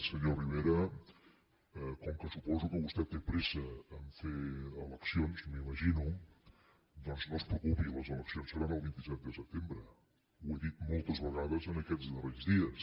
senyor rivera com que suposo que vostè té pressa a fer eleccions m’imagino doncs no es preocupi les eleccions seran el vint set de setembre ho he dit moltes vegades en aquests darreres dies